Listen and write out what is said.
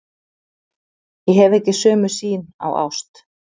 Ég hef ekki sömu sýn á ást.